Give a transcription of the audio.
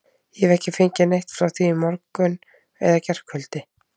Ég hef ekki fengið neitt frá því í morgun eða gærkvöldi.